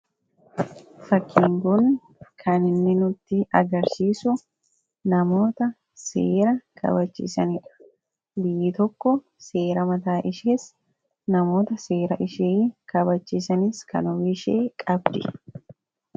Fakkiin kun kan inni nuti agarsiisu namoota seera kabachiisanidha. Biyyi tokko seera mataashee namoota seera mataashee kabachiisan kan ofiishee qabdi.